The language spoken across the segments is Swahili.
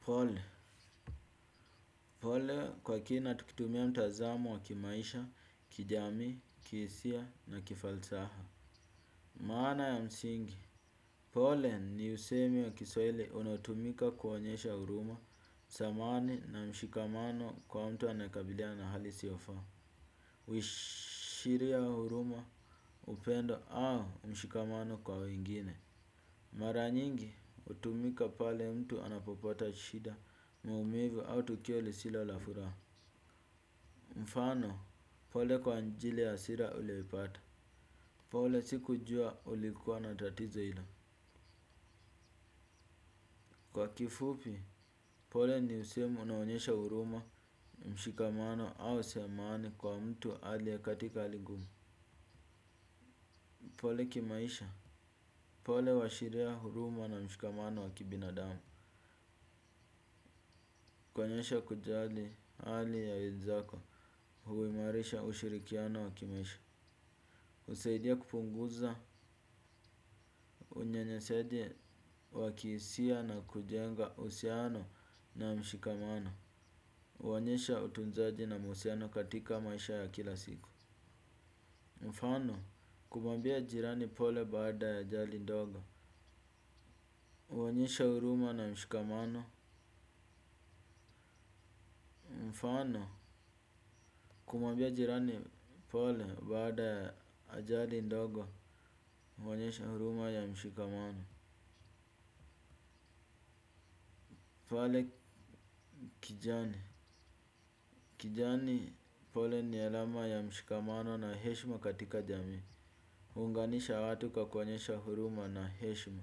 Pole, pole kwa kina tukitumia mtazamo wa kimaisha, kijamii, kiisia na kifalsaha. Maana ya msingi, pole ni usemi wa kiswaili unatumika kuonyesha huruma, samani na mshikamano kwa mtu anaekabiliana na hali isio faa. Uishiria huruma upendo au mshikamano kwa wengine. Maranyingi, utumika pale mtu anapopota shida maumivu au tukio lisilo la furaa. Mfano, pole kwa njili ya asira ulioipata. Pole si kujua ulikuwa na tatizo ilo. Kwa kifupi, pole ni usemi unaonyesha huruma, mshikamano au samahani kwa mtu aliye katika hali ngumu. Pole kimaisha, pole huashiria huruma na mshikamano wa kibinadamu. Kuonyesha kujali ali ya wenzako, huimarisha ushirikiano wa kimaisha. Usaidia kupunguza unyanyasaji wa kiisia na kujenga usiano. Na mshikamano uonyesha utunzaji na musiano katika maisha ya kila siku. Mfano, kumwambia jirani pole baada ya ajali ndogo. Uonyesha huruma na mshikamano. Mfano, kumwambia jirani pole baada ya ajali ndogo uonyesha huruma ya mshikamano. Pale kijani. Kijani pole ni alama ya mshikamano na heshma katika jamii. Hunganisha watu kwa kuonyesha huruma na heshma.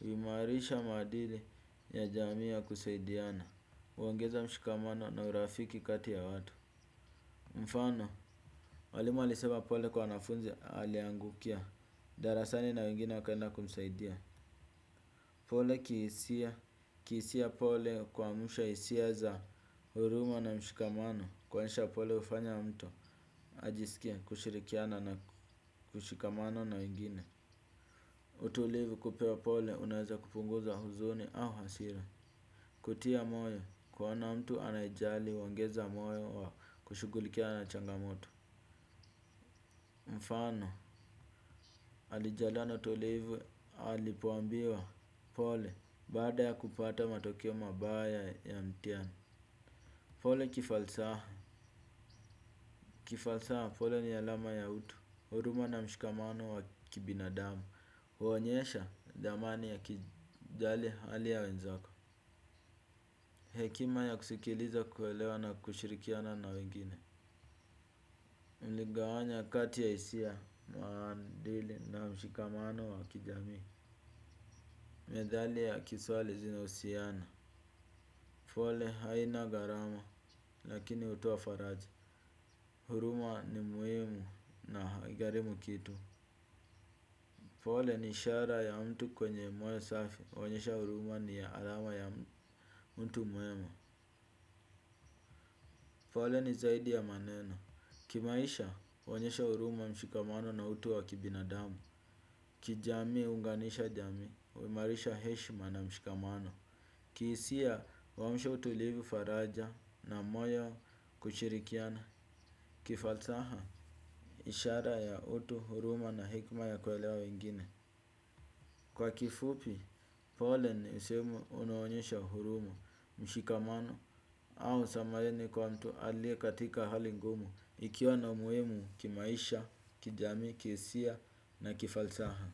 Uimarisha maadili ya jamii ya kusaidiana. Uongeza mshikamano na urafiki kati ya watu. Mfano, walimu walisema pole kwa wanafunzi aliangukia. Darasani na wengine wakaenda kumsaidia. Pole kiisia pole kuamusha isia za huruma na mshikamano. Kwaisha pole ufanya mtu ajisikie kushirikiana na kushikamana na wengine. Utulivu kupewa pole unaweza kupunguza huzuni au hasira. Kutia moyo kuona mtu anaejali uongeza moyo wa kushugulikiana na changamoto. Mfano alijaliwa na utulivu alipoambiwa pole baada ya kupata matokeo mabaya ya mtiani. Pole kifalsaha, kifalsaha pole ni alama ya utu huruma na mshikamano wa kibinadamu huonyesha dhamani ya kijali hali ya wenzako. Hekima ya kusikiliza kuwelewa na kushirikiana na wengine. Mligawanya kati ya isia maandili na mshikamano wa kijamii. Medhali ya kiswali zina usiana. Pole haina garama lakini utoa faraja. Huruma ni muimu na haigarimu kitu. Pole ni ishara ya mtu kwenye moyo safi, huonyesha uruma ni ya alama ya mtu muema. Pole ni zaidi ya maneno. Kimaisha, huonyesha uruma mshikamano na utu wa kibinadamu. Kijamii, huunganisha jamii, huimarisha heshma na mshikamano. Kiisia, huamusha utulivu faraja na moyo kushirikiana. Kifalsaha, ishara ya utu, huruma na hekma ya kuelewa wengine. Kwa kifupi, pole ni usemi unao onyesha huruma, mshikamano au samareni kwa mtu aliye katika hali ngumu, ikiwa na umuimu kimaisha, kijamii, kiisia na kifalsaha.